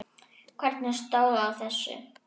Hvernig stóð á þessu?